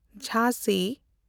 ᱡᱷᱟᱸᱥᱤ